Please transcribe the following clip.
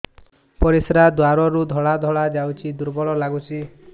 ପରିଶ୍ରା ଦ୍ୱାର ରୁ ଧଳା ଧଳା ଯାଉଚି ଦୁର୍ବଳ ଲାଗୁଚି